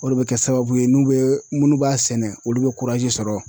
O de be kɛ sababu ye n'u be munnu b'a sɛnɛ olu be sɔrɔ.